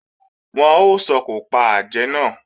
Wọ́n ó sòkò pa àjẹ́ náà